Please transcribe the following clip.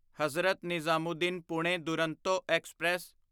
Hazrat Nizamuddin Pune Duronto express